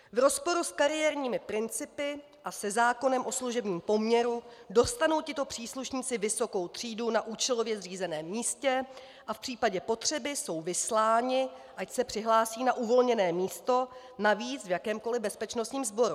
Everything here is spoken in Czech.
V rozporu s kariérními principy a se zákonem o služebním poměru dostanou tito příslušníci vysokou třídu na účelově zřízeném místě a v případě potřeby jsou vysláni, ať se přihlásí na uvolněné místo, navíc v jakémkoli bezpečnostním sboru.